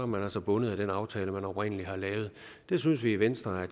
man altså bundet af den aftale man oprindelig har lavet det synes vi i venstre er